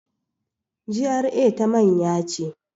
GRA ta manya ce.